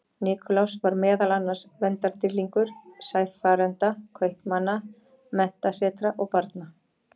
Nikulás var meðal annars verndardýrlingur sæfarenda, kaupmanna, menntasetra og barna.